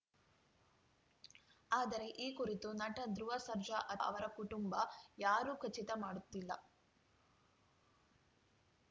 ಆದರೆ ಈ ಕುರಿತು ನಟ ಧ್ರುವ ಸರ್ಜಾ ಅಥವಾ ಅವರ ಕುಟುಂಬ ಯಾರೂ ಖಚಿತ ಮಾಡುತ್ತಿಲ್ಲ